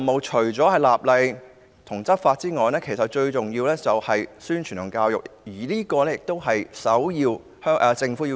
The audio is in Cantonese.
除了立法和執法外，最重要的是宣傳教育，這是政府的首要任務。